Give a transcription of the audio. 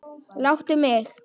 Láttu mig.